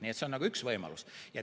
Nii et see on üks võimalus.